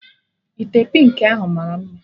Ite pịnki ahụ mara mma